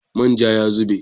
Man ja ya zube.